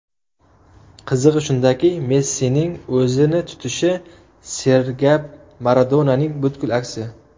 Qizig‘i shundaki, Messining o‘zini tutishi sergap Maradonaning butkul aksi.